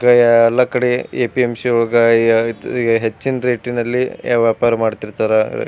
ಕ ಎಲ್ಲ ಕಡೆ ಎ.ಪಿ.ಎಂ.ಸಿ. ಒಳಗ ಯ ಐಯ್ತ್ ಹೆಚ್ಚಿನ ರೇಟ್ ನಲ್ಲಿ ವ್ಯಾಪಾರ ಮಾಡ್ತಿರ್ತಾರ.